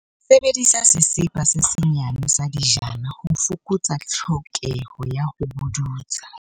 Sebedisa sesepa se senyane sa dijana, ho fokotsa tlhokeho ya ho pudutsa.